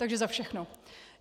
Takže za všechno.